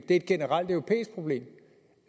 et generelt europæisk problem